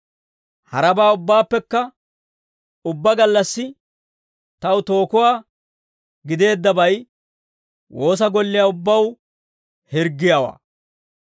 Harabaa ubbaappekka ubbaa gallassi taw tookuwaa gideeddabay, woosa golliyaa ubbaw hirggiyaawaa.